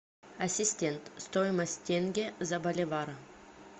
ассистент стоимость тенге за боливар